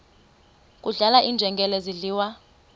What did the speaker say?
kudlala iinjengele zidliwa